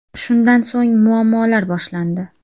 Shundan so‘ng muammolar boshlandi.